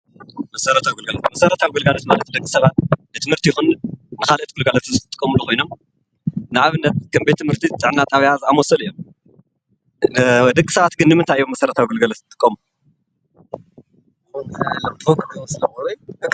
መሰረታዊ ግልጋሎት፦ መሰረታዊ ግልጋሎት ማለት ደቂ ሰባት ንትምህርቲ ይኹን ንካልኦት ግልጋሎት ዝጥቀሙሉ ኮይኖም ንአብነት፡ከም ቤት ትምህርቲን፣ ጥዕና ጣብያ ዝአመሰሉ እዮም። ደቂ ሰባት ግን ንምንታይ እዮም መሰረታዊ ግልጋሎት ዝጥቀሙ?